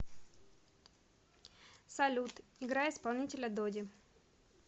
салют играй исполнителя доди